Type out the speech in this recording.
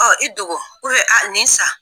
Ɔ i dogo a nin san.